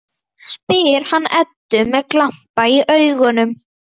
spyr hann Eddu með glampa í augum.